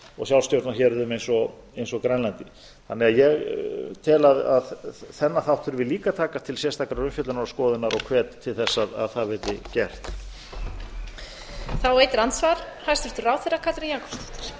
og ég tala ekki um finnlandi og sjálfstjórnarhéruðum eins og grænlandi ég tel að þennan þátt þurfi líka að taka til sérstakrar umfjöllunar og skoðunar og hvet til þess að það verði gert